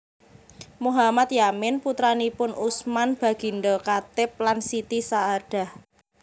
Mohammad Yamin putranipun Usman Baginda Khatib lan Siti Saadah